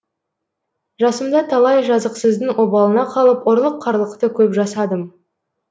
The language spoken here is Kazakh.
жасымда талай жазықсыздың обалына қалып ұрлық қарлықты көп жасадым